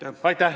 Aitäh!